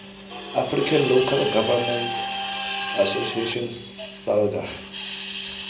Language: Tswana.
african local government association salga